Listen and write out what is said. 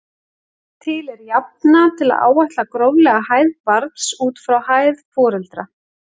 Til er jafna til að áætla gróflega hæð barns út frá hæð foreldra.